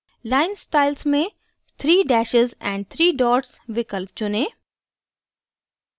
line styles में three dashes and three dots विकल्प चुनें